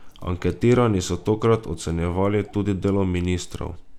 Anketirani so tokrat ocenjevali tudi delo ministrov.